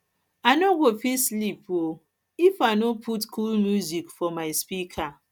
i no go no go fit sleep um if i um no put cool music for my speaker